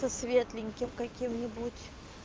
то светленьким каким-нибудь